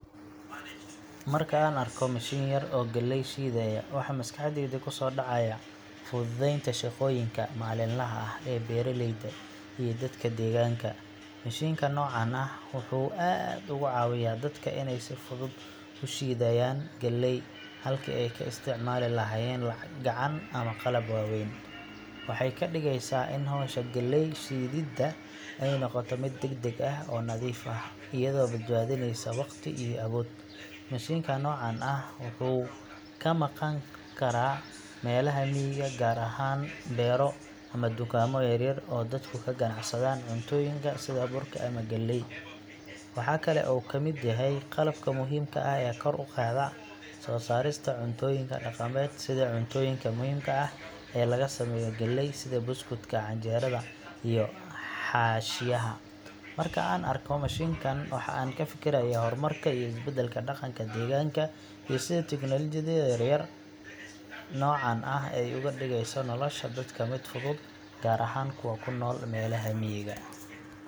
Markan arko mashin yar oo galey shidayo, waxa maskaxdeyda kusodacayah fududenta shaqoyinka malinlaha ah ee beraleyda dadka denka, mashinkan nocan ah wuxu aad ogacawiyah dadka inay sifudud ushidayan galey halki aay ka istacmali lahayen gacan ama qalab waweyn, waxay kadigeysa ini hosha galey shidida noqoto mid degdeg ah oo nadif ah ayado badbadineyso waqti iyo awood, mashinkan nocan ah wuxu kamaqan karan melaha miga gar ahan bero ama tukamo yaryar oo dadku kaganacsadan cuntoyinka sidhaa burka ama galey, waxa kale oo u kamid yahay qalabka muhimka ah kor uqadaa sosaroyinka cuntoyinka daqamed sidha cuntada muhimka ah ee lagasameyo galey sidhi buskudka, canjerada iyo xashiyaha, marka an arko mashinkan waxan kafikirayah waa hormarka iyo isbedelka daqanka deganka iyo sidha teknologiada yaryar nocan ah, ogadigeyso nolosha dadka mid fudud gar ahan kuwa kunol miga.